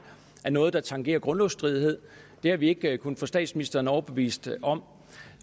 noget der tangerer grundlovsstridighed det har vi ikke kunnet få statsministeren overbevist om